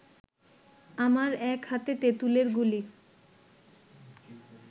আমার এক হাতে তেঁতুলের গুলি